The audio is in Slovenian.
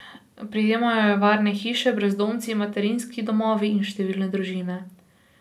Prejemajo jo varne hiše, brezdomci, materinski domovi in številne družine.